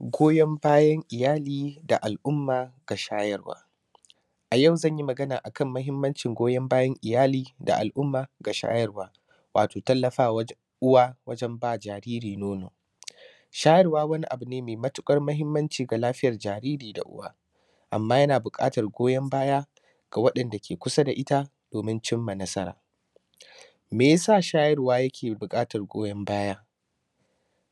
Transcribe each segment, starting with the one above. Goyon bayan iyali da al’umma ga shayarwa. A yau zan yi magana a kan mahimmancin goyon bayan iyali da al’umma ga shayarwa, wato tallafawa wajen uwa wajen ba jariri nono. Shayarwa wani abu ne me matiƙar mahimmanci ga lafiyar jariri da uwa. Amma yana buƙatar goyon baya ga waɗanda ke kusa da ita domin cim ma nasara. Me ya sa shayarwa yake buƙatar goyon baya,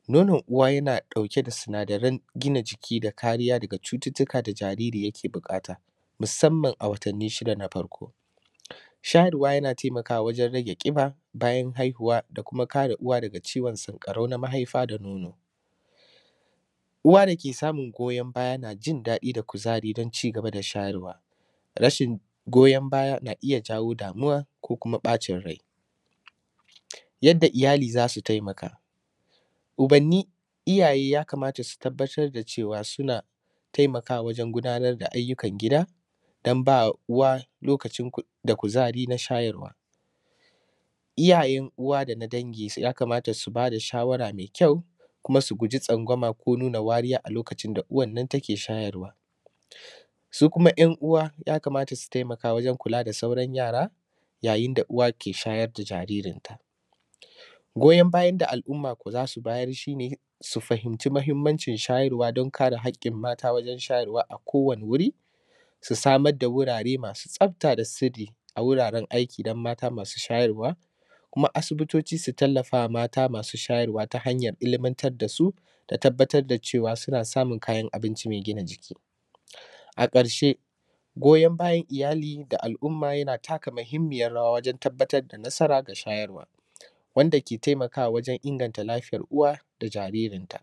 nonon uwa yana ɗauke da sinadaran gina jiki da kariya daga cututtuka da jariri yake buƙata musamman a watanni shida na farko. Shayarwa yana temakawa wajen rage ƙiba bayan haihuwa da kuma kare uwa daga ciwon sanƙarau na mahaifa da nono. Uwa da ke samun goyon baya na jin daɗi da kuzari don cigaba da shayarwa, rashin goyon baya na iya jawo damuwa ko kuma ƃacin rai. Yadda iyali za su taimaka, ubanni iyaye ya kamata su tabbatar da cewa suna taimakawa wajen gudanar da ayyukan gida dan ba uwa lokacin ku; da kuzari na shayarwa. Iyayen uwa da na dangi su; ya kamata su ba da shawara me kyau, kuma su guji tsangwama ko nuna wariya a lokacin da uwan nan take shayarwa. Su kuma ‘yan uwa ya kamata su temaka wajen kula da sauran yara yayin da uwa ke shayar da jaririnta. Goyon bayan da al’umma ko za su bayar shi ne, su fahimci mahimmancin shayarwa don kare haƙƙin mata wajen shayarwa a kowane wuri, su samar da wurare masu tsafta a sirri a wuraren aiki dan mata masu shayarwa, kuma asibitoci su tallafa wa mata masu shayarwa ta hanyar ilimantar da su, da tabbatar da cewa suna samun kayan abinci me gina jiki. A ƙarshe, goyon bayan iyali ga al’umma yana taka mahimmiyar rawa wajen tabbatar da nasara ga shayarwa wanda ke taimakawa wajen inganta lafiyar uwa da jaririnta.